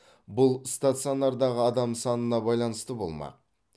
бұл стационардағы адам санына байланысты болмақ